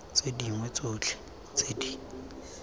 tse dingwe tsotlhe tse di